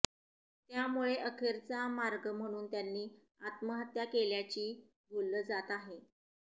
त्यामुळे अखेरचा मार्ग म्हणून त्यांनी आत्महत्या केल्याची बोललं जात आहे